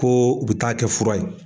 Ko u bi taa kɛ fura ye.